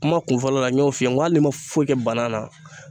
Kuma kunfɔlɔ la n y'o f'i ye n ko hali n ma foyi kɛ bana na